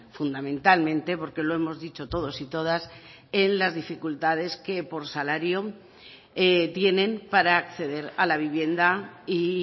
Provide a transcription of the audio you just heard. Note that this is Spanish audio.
fundamentalmente porque lo hemos dicho todos y todas en las dificultades que por salario tienen para acceder a la vivienda y